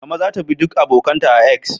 Mama za ta bi duk abokan ta a "X"